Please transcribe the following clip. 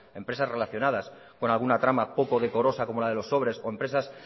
empresas relacionadas con alguna trama poco decorosa como la de los sobres o empresas